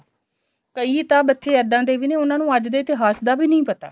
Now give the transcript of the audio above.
ਕਈ ਤਾਂ ਬੱਚੇ ਇੱਦਾਂ ਦੇ ਵੀ ਨੇ ਉਨ੍ਹਾਂ ਨੂੰ ਅੱਜ ਦੇ ਇਤਿਹਾਸ ਦਾ ਵੀ ਨੀਂ ਪਤਾ